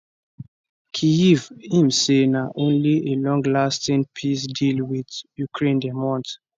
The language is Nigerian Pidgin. kyiv im say na only a longlasting peace deal wit ukraine dem want